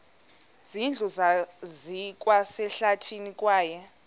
zindlu zikwasehlathini kwaye